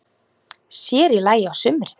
Sér í lagi á sumrin.